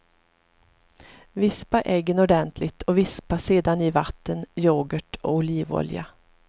Vispa äggen ordentligt och vispa sedan i vatten, yoghurt och olivolja.